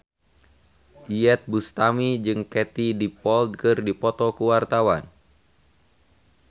Iyeth Bustami jeung Katie Dippold keur dipoto ku wartawan